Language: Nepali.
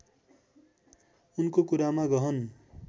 उनको कुरामा गहन